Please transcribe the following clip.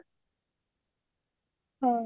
ହଁ